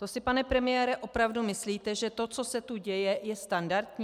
To si, pane premiére, opravdu myslíte, že to, co se tu děje, je standardní?